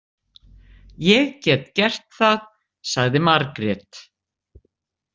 Ég get gert það, sagði Margrét.